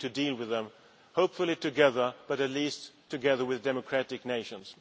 We need to deal with them, hopefully together, but at least together with democratic nations.